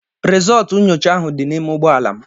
Rizultú nyocha ahụ dị n'ime ụgbọala m.